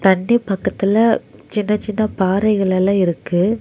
தண்டி பக்கத்துல சின்ன சின்ன பாறைகள் எல்லா இருக்கு.